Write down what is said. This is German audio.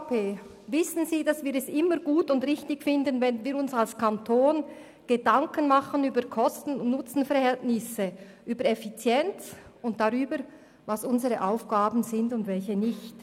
Sie wissen, dass wir von der EVP es immer gut und richtig finden, wenn wir uns als Kanton Gedanken über das Kosten- und Nutzenverhältnis, über Effizienz und darüber machen, welche Aufgaben zum Kanton gehören beziehungsweise welche nicht.